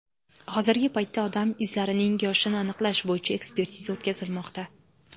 Hozirgi paytda odam izlarining yoshini aniqlash bo‘yicha ekspertiza o‘tkazilmoqda.